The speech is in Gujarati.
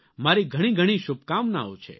મારી ઘણી ઘણી શુભકામનાઓ છે